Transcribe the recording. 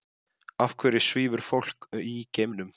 Af hverju svífur fólk í geimnum?